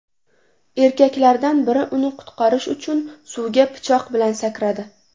Erkaklardan biri uni qutqarish uchun suvga pichoq bilan sakradi.